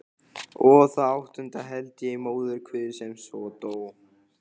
Og það áttunda held ég í móðurkviði sem svo dó.